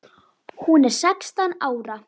Hún er sextán ára.